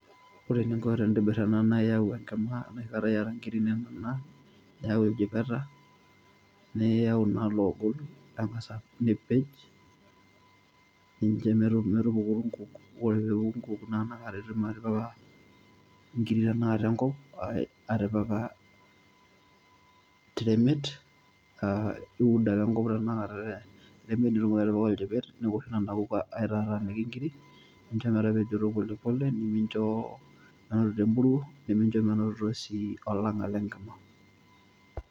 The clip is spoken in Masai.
Ore eninko tenintobir ena naa iyau enkima enoshi kata iyata nkiri inonok naa niyau iljipeta, niyau naa loogol ning'asa nipej ninjo metupuku nkuuk, kore pee epuku nkuuk naa inakata itum atipika nkiri tenakata enkop atipika te remet aa iud ake enkop tenakata te remet nitumoki atipika oljipet niwoshu nena kuuk aitataaniki nkirik, ninjo metapejoto polepole neminjo menotito empuruo, neminjo menotito sii olang'a le nkima.